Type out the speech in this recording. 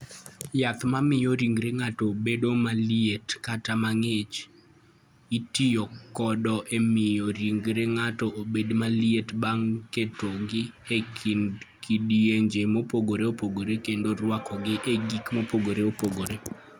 Yath ma miyo ringre ng'ato bedo maliet kata mang'ich: Itiyo kode e miyo ringre ng'ato obed maliet bang' ketogi e kidienje mopogore opogore kendo rwakogi e gik mopogore opogore.